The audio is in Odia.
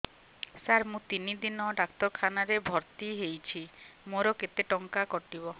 ସାର ମୁ ତିନି ଦିନ ଡାକ୍ତରଖାନା ରେ ଭର୍ତି ହେଇଛି ମୋର କେତେ ଟଙ୍କା କଟିବ